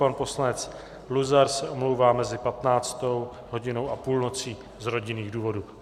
Pan poslanec Luzar se omlouvá mezi 15. hodinou a půlnocí z rodinných důvodů.